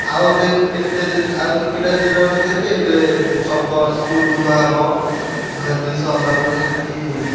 ଆଉ ଦେଖେ କେତେ ଦିନ୍ ଆଉ କେତେକିଟା ଦିନ୍ ରହିଲା ଦେଖ୍ ଏବେ ସବୁ କ~ school ଧୁଆହବ। ଧୁଆଧୁଇ ସରିଲା ପରେ ଯାଇକି।